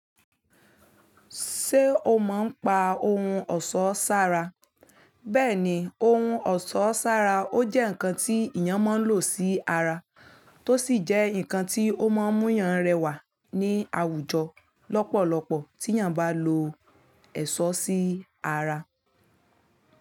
Ṣé o mọ̀ nípa ohun ọ̀ṣọ́ ṣára? Bẹ́ẹ̀ni, ohun ọ̀ṣọ́ ṣára ó jẹ́ nǹkan tí èèyàn máa ń lò sí ara, tó sì jẹ́ nǹkan tí ó máa ń mú èèyàn rẹwà ní àwùjọ lọ́pọ̀lọpọ̀ tí èèyàn bá lo ẹ̀ṣọ́ sí ara.